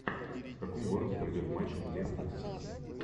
в каком городе пройдет матч лестер сити